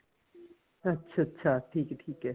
ਅੱਛਾ ਅੱਛਾ ਠੀਕ ਐ ਠੀਕ ਐ